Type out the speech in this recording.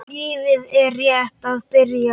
Lífið er rétt að byrja.